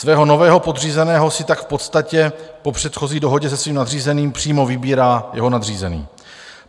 Svého nového podřízeného si tak v podstatě po předchozí dohodě se svým nadřízeným přímo vybírá jeho nadřízený.